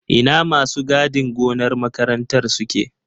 Ina masu gadin gonar makarantar suke?